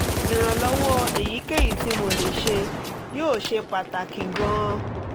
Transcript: ìrànlọ́wọ́ èyíkéyìí tí mo lè ṣe yóò ṣe pàtàkì gan-an